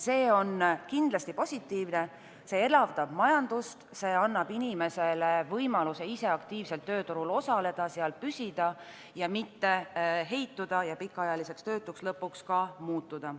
See on kindlasti positiivne, see elavdab majandust, see annab inimesele võimalusele ise aktiivselt tööturul osaleda, seal püsida ning mitte heituda ja lõpuks ka pikaajaliseks töötuks muutuda.